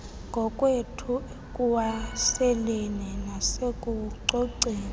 ngokwethu ekuwaseleni nasekucoceni